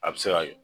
A bɛ se ka kɛ